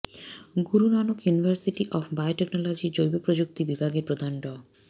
Guru Nanak university of বায়োটেকনোলজির জৈবপ্রযুক্তি বিভাগের প্রধান ড